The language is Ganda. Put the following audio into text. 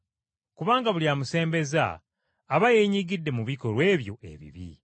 Kubanga buli amusembeza aba yeenyigidde mu bikolwa ebyo ebibi.